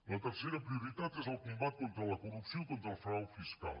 la tercera prioritat és el combat contra la corrupció i contra el frau fiscal